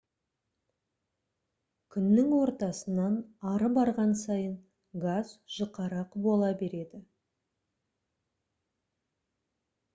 күннің ортасынан ары барған сайын газ жұқарақ бола береді